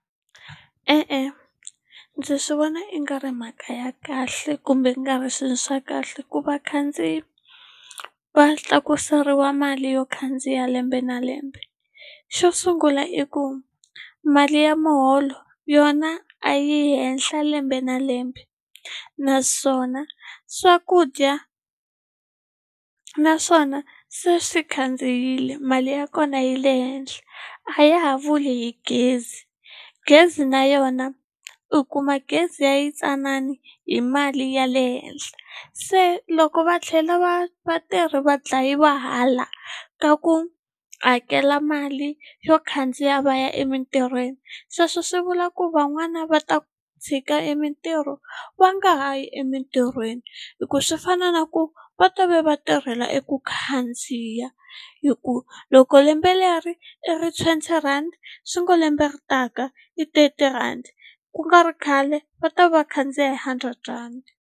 E-e ndzi swi vona i nga ri mhaka ya kahle kumbe i nga ri swilo swa kahle ku vakhandziyi va tlakuseriwa mali yo khandziya lembe na lembe xo sungula i ku mali ya muholo yona a yi yi henhla lembe na lembe naswona swakudya naswona se swi khandziyile mali ya kona yi le henhla a ya ha vuli hi gezi gezi na yona u kuma gezi ya yitsanani hi mali ya le henhla se loko va tlhela va vatirhi va dlayiwa hala ka ku hakela mali yo khandziya va ya emitirhweni sweswo swi vula ku van'wana va ta tshika e mintirho va nga ha yi emintirhweni hikuva swi fana na ku va to ve va tirhela eku khandziya hi ku loko lembe leri i ri twenty rhandi swi ngo lembe leri taka i thirty rhandi ku nga ri khale va ta va khandziya hi hundred rhandi.